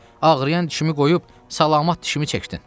Ağrıyan dişimi qoyub salamat dişimi çəkdin.